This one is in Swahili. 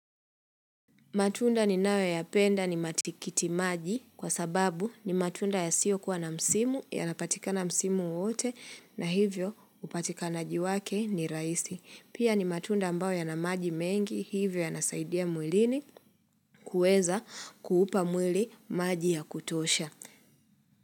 Matunda ninayo ya penda ni matikiti maji kwa sababu ni matunda ya siyo kuwa na msimu, ya napatika na msimu wote na hivyo upatika na jiwake ni rahisi. Pia ni matunda ambao ya na maji mengi hivyo ya nasaidia mwilini kueza kuupa mwili maji ya kutosha.